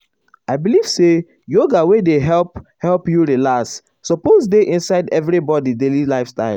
i believe say yoga wey dey help help you relax suppose dey inside everybody daily lifestyle.